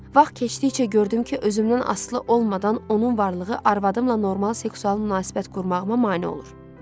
Vaxt keçdikcə gördüm ki, özümdən asılı olmadan onun varlığı arvadımla normal seksual münasibət qurmağıma mane olur.